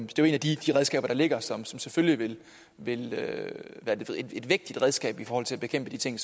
jo et af de redskaber der ligger som som selvfølgelig vil være et vægtigt redskab i forhold til at bekæmpe de ting